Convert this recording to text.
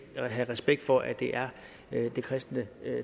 have respekt for at det er det kristne